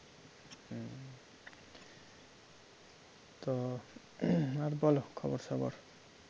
তো আর বলো খবর সবর